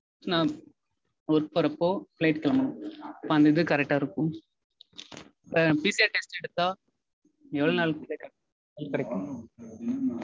நா work போறப்போ flight கெளம்பனும். அப்போ அந்த இது correct டா இருக்கும். இப்போ PCR test எடுத்தா எவ்ளோ நாள் கிட்ட result கெடைக்கும்.